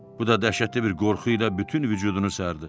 Bu da dəhşətli bir qorxu ilə bütün vücudunu sərdi.